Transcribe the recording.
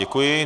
Děkuji.